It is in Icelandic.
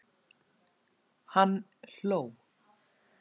Hann hló.